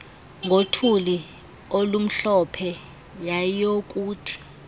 ngothuli olumhlophe yayokuthi